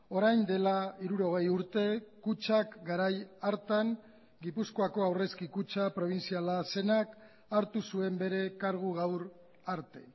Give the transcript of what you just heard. orain dela hirurogei urte kutxak garai hartan gipuzkoako aurrezki kutxa probintziala zenak hartu zuen bere kargu gaur arte